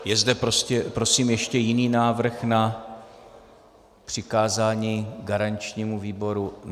Je zde prosím ještě jiný návrh na přikázání garančnímu výboru?